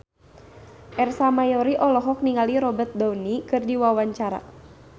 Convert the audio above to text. Ersa Mayori olohok ningali Robert Downey keur diwawancara